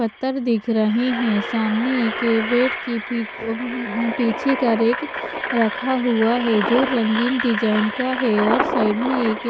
पत्थर दिख रहे है सामने इक बेड की पीठ ओ उम पीछे का रैक रखा हुआ है जो रंगीन डिजाइन का है और साइड मे एक --